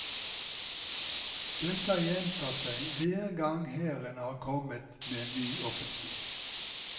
Dette har gjentatt seg hver gang hæren har kommet med en ny offensiv.